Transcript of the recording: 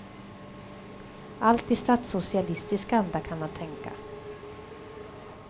Allt i statssocialistisk anda, kan man tänka.